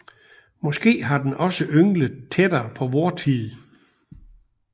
Måske har den også ynglet tættere på vor tid